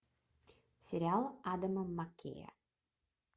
сериал адама маккея